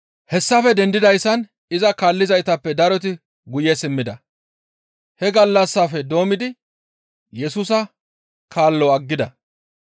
Hessafe dendidayssan iza kaallizaytappe daroti guye simmida. He gallassafe doommidi Yesusa kaalo aggida.